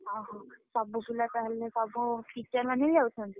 ଓହୋଃ, ସବୁ ପିଲା ତାହେଲେ ସବୁ teacher ମାନେ ଯାଉଛନ୍ତି?